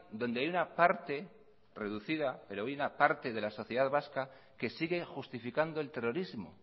donde hay una parte reducida pero hay una parte de la sociedad vasca que sigue justificando el terrorismo